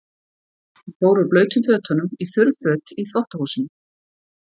Hann fór úr blautum fötunum í þurr för í þvottahúsinu.